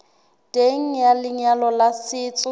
teng ha lenyalo la setso